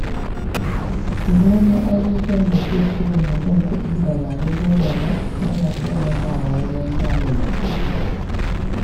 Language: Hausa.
Gano abubuwan da ke ci wa mutum kuɗi da ba na dole ba yana taimakawa wajen tanadi.